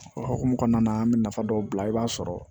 O hukumu kɔnɔna na an bɛ nafa dɔw bila i b'a sɔrɔ